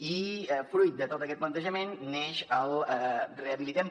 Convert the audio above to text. i fruit de tot aquest plantejament neix el rehabilitem